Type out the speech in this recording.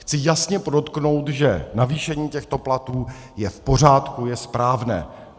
Chci jasně podotknout, že navýšení těchto platů je v pořádku, je správné.